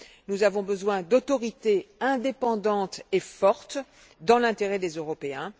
Nous avons besoin d'autorités indépendantes et fortes, dans l'intérêt des Européens.